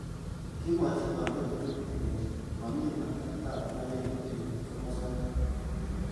Kimwochi kandoik tugul kolechi momi aldaet ab mayek eng kimosatak.